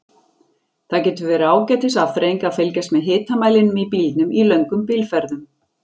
Það getur verið ágætis afþreying að fylgjast með hitamælinum í bílnum í löngum bílferðum.